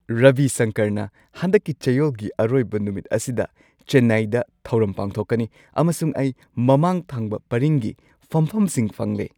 ꯔꯕꯤ ꯁꯪꯀꯔꯅ ꯍꯟꯗꯛꯀꯤ ꯆꯌꯣꯜꯒꯤ ꯑꯔꯣꯏꯕ ꯅꯨꯃꯤꯠ ꯑꯁꯤꯗ ꯆꯦꯟꯅꯥꯏꯗ ꯊꯧꯔꯝ ꯄꯥꯡꯊꯣꯛꯀꯅꯤ ꯑꯃꯁꯨꯡ ꯑꯩ ꯃꯃꯥꯡ ꯊꯪꯕ ꯄꯔꯤꯡꯒꯤ ꯐꯝꯐꯝꯁꯤꯡ ꯐꯪꯂꯦ!